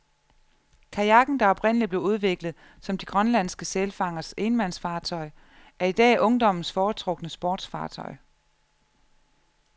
Kajakken, der oprindelig blev udviklet som de grønlandske sælfangers enmandsfartøj, er i dag ungdommens foretrukne sportsfartøj.